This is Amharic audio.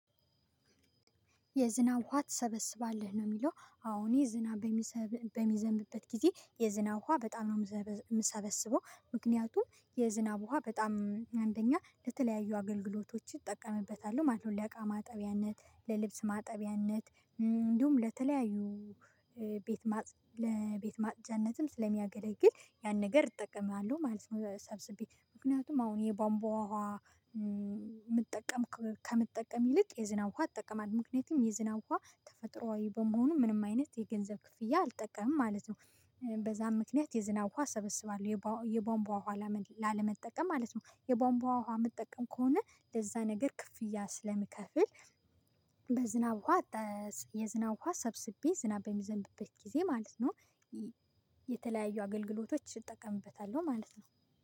የዝናብ ውሃ ትሰበስባለህ ነው የሚለው፤ አሁን የዝናብ በሚዘንብበት ጊዜ የዝናብ ውሃ በጣም ነው የምሰበስበው፤ ምክንያቱም የዝናብ ውሃ በጣም አንደኛ ለተለያዩ አገልግሎቶች ይጠቀምበታሉ ማለት ነው፤ ለእቃ ማጠቢያነት፣ ለልብስ ማጠቢያነት እንዲሁም ለተለያዩ ሄ ቤት ለቤት ማጽጃነትም ስለሚያገለግል ያን ነገር እጠቀማለሁ ማለት ነው፤ ሰብስቤ ምክንያቱም አሁን የቧንቧ ውሃ እም መጠቀም ከምትጠቀም ይልቅ የዝናብ ውሃ እጠቀማለሁ፤ ምክንያቱም የዝናብ ውሃ ተፈጥሮአዊ በመሆኑ ምንም አይነት የገንዘብ ክፍያ አልጠቀምም ማለት ነው። በዛም ምክንያት የዝናብ ውሃ ሰበስባለሁ የቧንቧ ውሃ ላለመጠቀም ማለት ነው የቧንቧ ውሃ መጠቀም ከሆነ ለዛ ነገር ክፍያ ስለምከፍል በዝናብ ውሃ፤ የዝናብ ውሃ ሰብስቤ፤ ዝናብ በሚዘንብበት ጊዜ ማለት ነው፤ የተለያዩ አገልግሎቶች እጠቀምበታለሁ ማለት ነው።